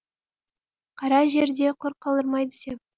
қара жер де құр қалдырмайды деп